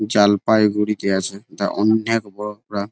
জলপাইগুড়িতে আছে তা অনেক বড়ো প্রায়--